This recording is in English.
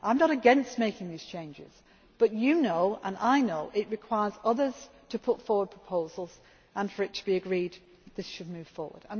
as well. I am not against making these changes but you know, and I know, it requires others to put forward proposals, and for it to be agreed that this should